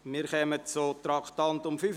Wir kommen zum Traktandum 45.